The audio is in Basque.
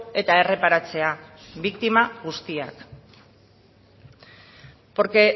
eta erreparatzea biktima guztiak